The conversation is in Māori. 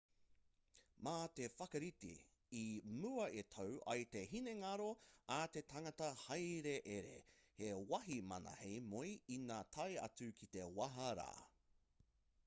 mā te whakarite i mua e tau ai te hinengaro a te tangata hāereere he wāhi māna hei moe ina tae atu ki te wāhi rā